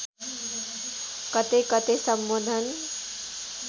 कतै कतै सम्बोधन